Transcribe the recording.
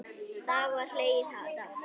Þá var hlegið dátt.